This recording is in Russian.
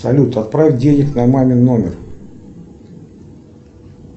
салют отправь денег на мамин номер